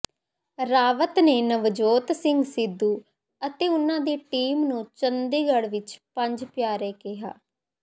ਰਾਵਤ ਨੇ ਨਵਜੋਤ ਸਿੰਘ ਸਿੱਧੂ ਅਤੇ ਉਨ੍ਹਾਂ ਦੀ ਟੀਮ ਨੂੰ ਚੰਡੀਗੜ੍ਹ ਵਿੱਚ ਪੰਜ ਪਿਆਰੇ ਕਿਹਾ